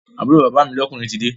Àbúrò bàbá mi lọ́kùnrin tide